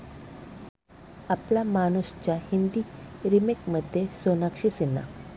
आपला मानूस'च्या हिंदी रिमेकमध्ये सोनाक्षी सिन्हा